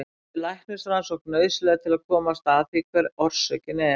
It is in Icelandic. Því er læknisrannsókn nauðsynleg til að komast að því hver orsökin er.